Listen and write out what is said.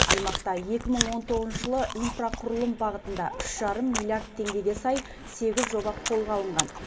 аймақта екі мың он тоғызыншы жылы инфрақұрылым бағытында үш жарым миллиард теңгеге сай сегіз жоба қолға алынған